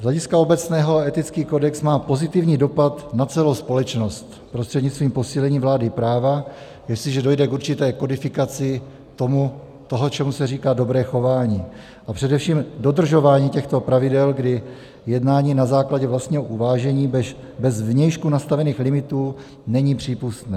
Z hlediska obecného etický kodex má pozitivní dopad na celou společnost prostřednictvím posílení vlády práva, jestliže dojde k určité kodifikaci toho, čemu se říká dobré chování, a především dodržování těchto pravidel, kdy jednání na základě vlastního uvážení bez zvnějšku nastavených limitů není přípustné.